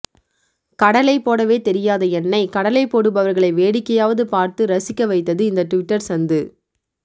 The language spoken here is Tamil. கடலை போடவே தெரியாத என்னை கடலை போடுபவர்களை வேடிக்கையாவது பார்த்து ரசிக்க வைத்தது இந்த ட்விட்டர் சந்து